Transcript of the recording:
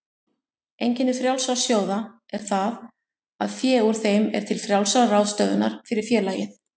Einkenni frjálsra sjóða er það að fé úr þeim er til frjálsrar ráðstöfunar fyrir félagið.